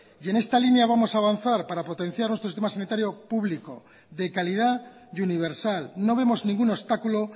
y en esta línea vamos a avanzar para potenciar nuestro sistema sanitario público de calidad y universal no vemos ningún obstáculo